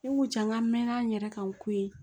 Ne ko ja n k'an mɛɛnna n yɛrɛ kan ko ye